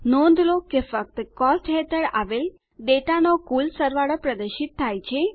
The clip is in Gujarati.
નોંધ લો કે ફક્ત કોસ્ટ હેઠળ આવેલ ડેટાનો કુલ સરવાળો પ્રદર્શિત થાય છે